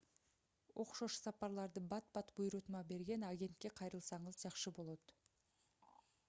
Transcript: окшош сапарларды бат-бат буйрутма берген агентке кайрылсаңыз жакшы болот